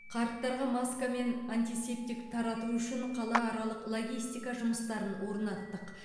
қарттарға маска мен антисептик тарату үшін қалааралық логистика жұмыстарын орнаттық